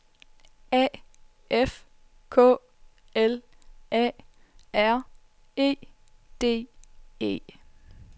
A F K L A R E D E